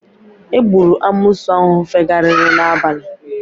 Egburu amoosu ahụ fegharịrị n'abalị